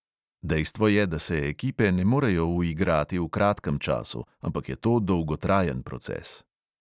Dejstvo je, da se ekipe ne morejo uigrati v kratkem času, ampak je to dolgotrajen proces.